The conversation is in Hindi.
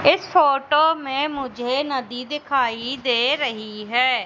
इस फोटो में मुझे नदी दिखाई दे रही है।